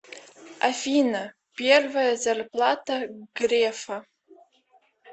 афина первая зарплата грефа